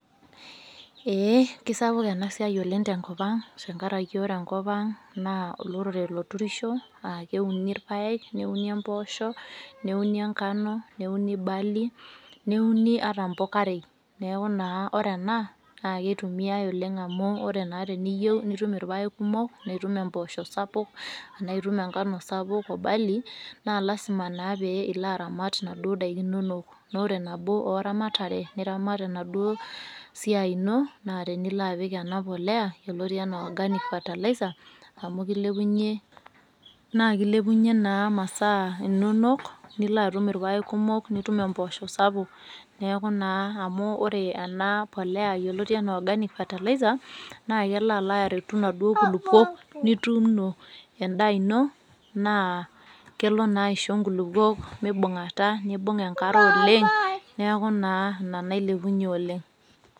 Eeh keisapuk enasiai oleng' tenkopang' tengaraki ore enkopang' naa olorere loturisho aakeuni irpaek, neuni empoosho, neuni engano, neuni barley, neuni ata mpokarei neaku naa ore ena naakeitumiai oleng' amu ore naa teniyou nitum irpaek kumok, nitum empoosho sapuk, anaitum engano sapuk o barley naa lasima naa pee iloaramat naduo daiki inonok. Noore nabo ooramatare niramat enaduo siai ino naa teniloapik enapolea yoloti anaa organic fertilizer amu keilepunye naakeilepunye naa masaa inonok niloatum irpaek kumok, nitum empoosho sapuk. Neaku naa amu ore enapolea yoloti anaa organic fertilizer naakeloaloaretu naduo kulukuok nituuno endaa ino naa kelo naaisho nkulukuok meibung'ata neibung' enkare oleng' neaku naa ina nailepunye oleng'.